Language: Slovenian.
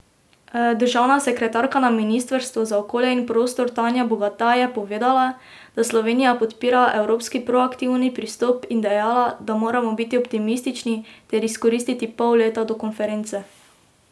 Državna sekretarka na ministrstvu za okolje in prostor Tanja Bogataj je povedala, da Slovenija podpira evropski proaktivni pristop in dejala, da moramo biti optimistični ter izkoristiti pol leta do konference.